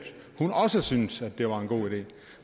hun også syntes at det var en god idé